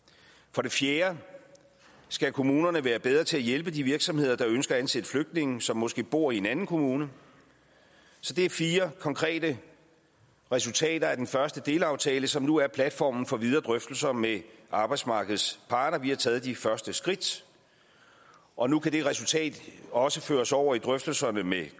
for det fjerde skal kommunerne være bedre til at hjælpe de virksomheder der ønsker at ansætte flygtninge som måske bor i en anden kommune så det er fire konkrete resultater af den første delaftale som nu er platformen for videre drøftelser med arbejdsmarkedets parter vi har taget de første skridt og nu kan det resultat også føres over i drøftelserne med